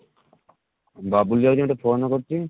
ବବୁଲ ଯାଉଛି ଗୋଟେ phone କରୁଛି